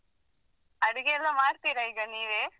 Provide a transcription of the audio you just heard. ಅಡಿಗೆಯೆಲ್ಲಾ ಮಾಡ್ತಿರ ಈಗ ನೀವೆ?